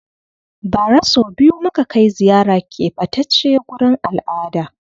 Ba ra so biyu muka kai ziyara ƙebatace gurin al'ada